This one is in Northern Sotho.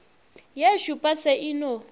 ye šupa se e no